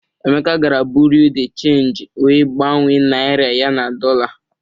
Emeka gara buriu di chenji wee gbanwee naịra ya na dọla.